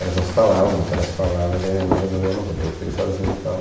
Elas não se falavam, voltaram a se falar, mas aí minha mãe resolveu, não vou ter o filho sozinha e tal.